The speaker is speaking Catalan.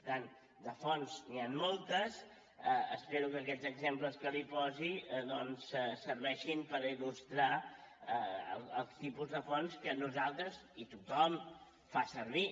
per tant de fonts n’hi han moltes espero que aquests exemples que li posi doncs serveixin per il·lustrar els tipus de fonts que nosaltres i tothom fem servir